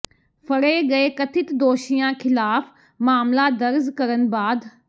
ਫੜ੍ਹੇ ਗਏ ਕਥਿਤ ਦੋਸ਼ੀਆਂ ਖ਼ਿਲਾਫ਼ ਮਾਮਲਾ ਦਰਜ ਕਰਨ ਬਾਅਦ